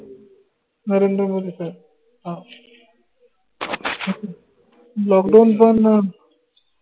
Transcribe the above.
नरेंद्र मोदी साहेब हाओ lockdown पन अं